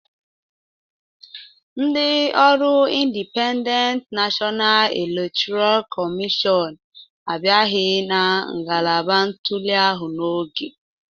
Ndị ọrụIndipendent Nashọna Elektọra Kọmịshọn abịaghị na ngalaba ntuli ahụ n'oge